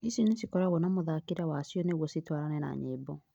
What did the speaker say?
ici nĩcikoragwo na mũthakĩre wacio nĩguo citwarane na nyĩmbo